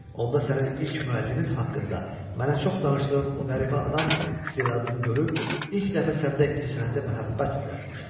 Onda sənin ilk müəllimin haqqında mənə çox danışdığın o qəribə adam istedadını görüb ilk dəfə səndə incəsənətə məhəbbət oyatmışdı.